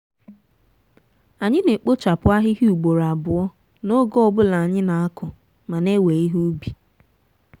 anyị na-ekpochapụ ahịhịa ugboro abụọ n'oge ọ bụla anyị na-akụ ma na-ewe ihe ubi.